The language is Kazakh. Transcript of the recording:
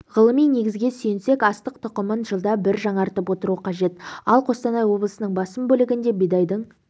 ғылыми негізге сүйенсек астық тұқымын жылда бір жаңартып отыру қажет ал қостанай облысының басым бөлігінде бидайдың